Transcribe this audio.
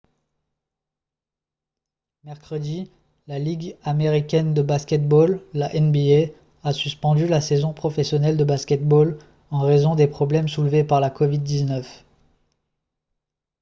mercredi la ligue américaine de basket-ball la nba a suspendu la saison professionnelle de basket-ball en raison des problèmes soulevés par la covid-19